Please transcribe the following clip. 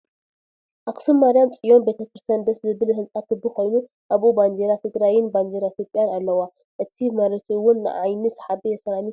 ኣክሱም ማርያም ፅዮን ቤተ ክርስትያን ደስ ዝብል ሕንፃ ክቢ ኮይኑ ኣብኡ ባንዴራ ትግራይን ባንዴራ ኢትዮጽያን ኣልዋ እቲ ምሪቱ ዉን ንዓይኒ ሰሓቢ ሴራሚክ እዩ ።